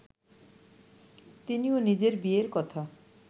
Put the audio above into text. তিনিও নিজের বিয়ের কথা